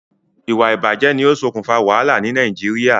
Ìwà ìbàjé ni o sokùn fa wàhálà ni Naijiria